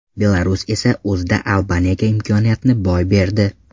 Belarus esa o‘zida Albaniyaga imkoniyatni boy berdi.